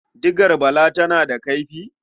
Digar Bala tana da kaifi?